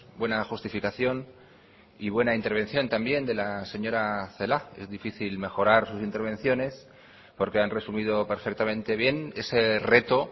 buena justificación y buena intervención también de la señora celaá es difícil mejorar sus intervenciones porque han resumido perfectamente bien ese reto